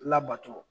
Labato